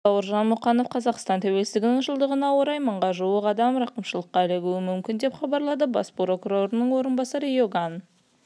астана желтоқсан қаз бауыржан мұқанов қазақстан тәуелсіздігінің жылдығына орай мыңға жуық адам рақымшылыққа ілігуі мүмкін деп хабарлады бас прокурорының орынбасары иоган